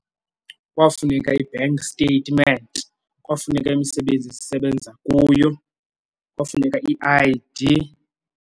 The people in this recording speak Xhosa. Kwafuneka i-bank statement, kwafuneka imisebenzi esisebenza kuyo, kwafuneka i-I_D.